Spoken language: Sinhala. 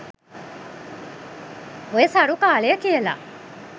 ඔය "සරු කාලය" කියල